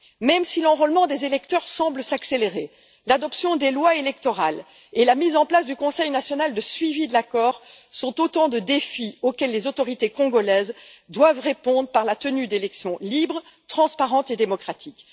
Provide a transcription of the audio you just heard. Même si l'enrôlement des électeurs semble s'accélérer, l'adoption des lois électorales et la mise en place du Conseil national de suivi de l'accord sont autant de défis auxquels les autorités congolaises doivent répondre par la tenue d'élections libres, transparentes et démocratiques.